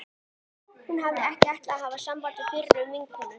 Hún hafði ekki ætlað að hafa samband við fyrrum vinkonur